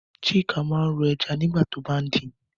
Chuka máa ń ro ẹja nígbà tó bá ń din